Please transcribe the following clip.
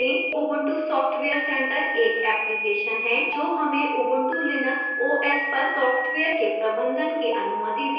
ubuntu software center एक application है जो हमें ubuntu linux os पर सॉफ्टवेयर के प्रबंधन की अनुमति देता है